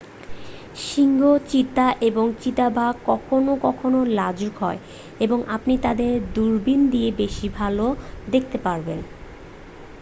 সিংহ চিতা এবং চিতাবাঘ কখনও কখনও লাজুক হয় এবং আপনি তাদের দূরবীণ দিয়েই বেশি ভাল দেখতে পাবেন